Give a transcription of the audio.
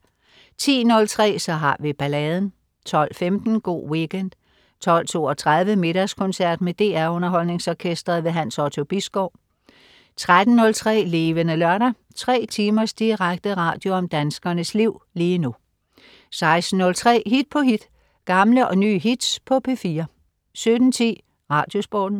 10.03 Så har vi balladen 12.15 Go' Weekend 12.32 Middagskoncert. Med DR Underholdningsorkestret. Hans Otto Bisgaard 13.03 Levende Lørdag. 3 timers direkte radio om danskernes liv lige nu 16.03 Hit på hit. Gamle og nye hits på P4 17.10 Radiosporten